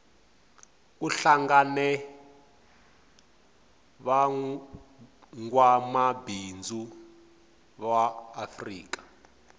kuhlangene vangwamabindzu vaafrika